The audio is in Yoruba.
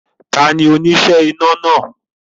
Tani oníṣẹ́ iná náà